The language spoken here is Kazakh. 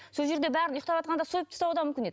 сол жерде бәрін ұйықтаватқанда сойып тастауы да мүмкін еді